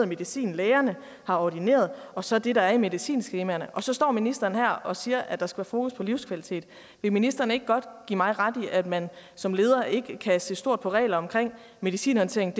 medicin lægerne har ordineret og så det der står i medicinskemaerne og så står ministeren her og siger at der skal være fokus på livskvalitet vil ministeren ikke godt give mig ret i at man som leder ikke kan se stort på regler for medicinhåndtering